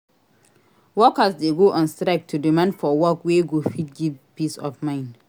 Workers de go on strike to demand for work wey go fit give peace of mind